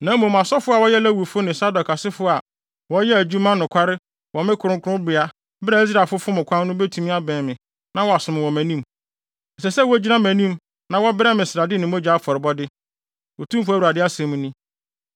“ ‘Na mmom asɔfo a wɔyɛ Lewifo ne Sadok asefo a wɔyɛɛ adwuma nokware wɔ me kronkronbea bere a Israelfo fom kwan no betumi abɛn me na wɔasom wɔ mʼanim; ɛsɛ sɛ wogyina mʼanim na wɔbrɛ me srade ne mogya afɔrebɔde, Otumfo Awurade asɛm ni.